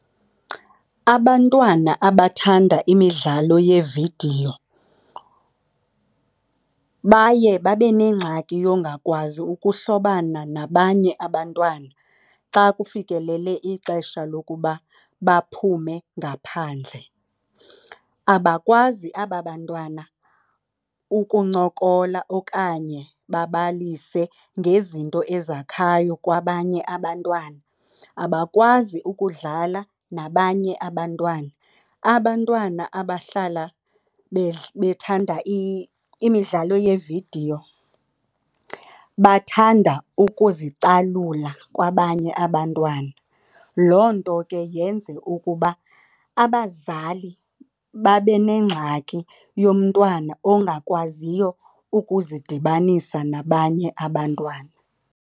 Abantwana abathanda imidlalo yeevidiyo baye babe neengxaki yongakwazi ukuhlobana nabanye abantwana xa kufikelele ixesha lokuba baphume ngaphandle. Abakwazi aba bantwana ukuncokola okanye babalise ngezinto ezakhayo kwabanye abantwana, abakwazi ukudlala nabanye abantwana. Abantwana abahlala bethanda imidlalo yeevidiyo bathanda ukuzicalula kwabanye abantwana. Loo nto ke yenze ukuba abazali babe nengxaki yomntwana ongakwaziyo ukuzidibanisa nabanye abantwana.